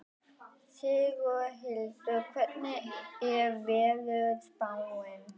Sigurhildur, hvernig er veðurspáin?